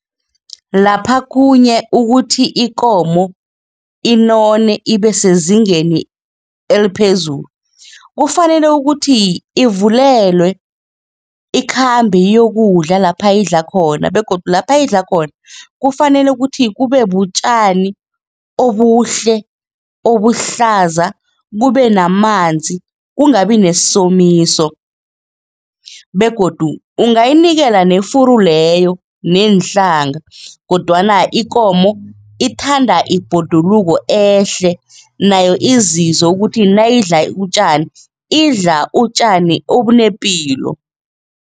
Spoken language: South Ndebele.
Lapha khunye ukuthi ikomo inone ibe sezingeni eliphezulu, kufanele ukuthi ivulelwe, ikhambe iyokudla lapha idla khona begodu lapha idla khona kufanele ukuthi kube butjani obuhle, obuhlaza, kube namanzi, kungabi nesomiso begodu ungayinikela nefuru leyo neenhlanga kodwana ikomo ithanda ibhoduluko ehle nayo izizwe ukuthi nayidla utjani, idla utjani obunepilo.